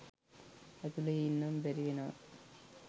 ඇතුලේ ඉන්නම බැරි වෙනවා.